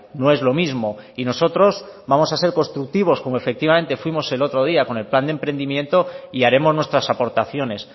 no es lo mismo y nosotros vamos a ser constructivos como efectivamente fuimos el otro día con el plan de emprendimiento y haremos nuestras aportaciones